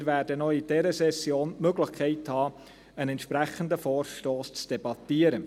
Wir werden auch in dieser Session die Möglichkeit haben, über einen entsprechenden Vorstoss zu debattieren.